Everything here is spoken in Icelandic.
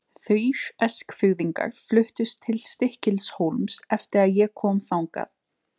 Þrír Eskfirðingar fluttust til Stykkishólms eftir að ég kom þangað.